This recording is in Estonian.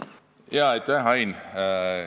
Aitäh, hea Ain!